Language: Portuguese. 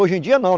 Hoje em dia não.